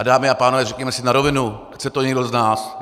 A dámy a pánové, řekněme si na rovinu, chce to někdo z nás?